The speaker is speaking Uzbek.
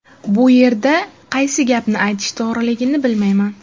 Bu yerda qaysi gapni aytish to‘g‘riligini bilmayman.